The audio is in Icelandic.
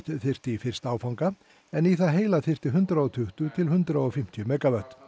þyrfti í fyrsta áfanga en í það heila þyrfti hundrað og tuttugu til hundrað og fimmtíu megavött